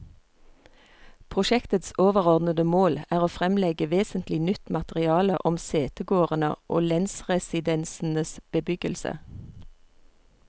Prosjektets overordede mål er å fremlegge vesentlig nytt materiale om setegårdene og lensresidensenes bebyggelse.